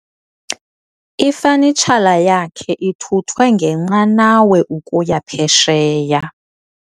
Ifanitshala yakhe ithuthwe ngenqanawa ukuya phesheya.